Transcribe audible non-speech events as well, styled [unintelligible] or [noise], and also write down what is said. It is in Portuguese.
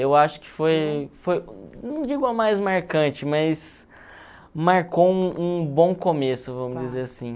Eu acho que foi, [unintelligible] não digo a mais marcante, mas marcou um um bom começo, vamos dizer assim.